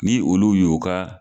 Ni olu y' ka.